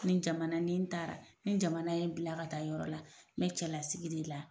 Ni jamana ni n taara ni jamana ye n bila ka taa yɔrɔ la n bɛ cɛlasigi de la.